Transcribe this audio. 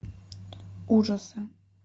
ужасы